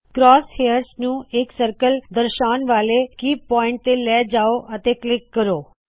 cross hairs ਨੂੰ ਇਕ circle ਦਰਸ਼ਾਉਣ ਵਾਲੇ ਕੇ ਪੁਆਇੰਟ ਤੇ ਲੈ ਜਾਓ ਅਤੇ ਕਲਿੱਕ ਕਰੋ